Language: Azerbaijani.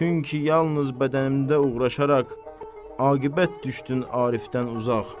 Çünki yalnız bədənimdə uğraşaraq aqibət düşdün Arifdən uzaq.